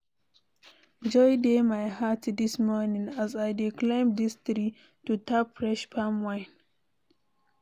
Joy dey my heart dis morning as I dey climb dis tree to tap fresh palm wine.